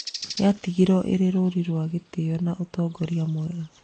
Yatigirwo ĩrĩ rũri rwa gĩtĩo na ũtongoria mwega.